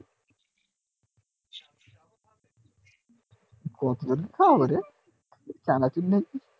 চানাচুর নেই